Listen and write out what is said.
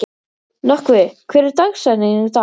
Nökkvi, hver er dagsetningin í dag?